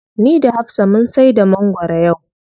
Ni da hafsa mun saida mangwaro yau.